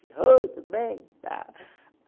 Oi, tudo bem?